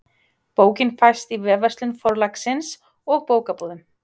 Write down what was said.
Bókin fæst í vefverslun Forlagsins og bókabúðum.